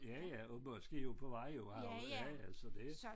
Ja ja og måske også på vej jo har jo ja ja så det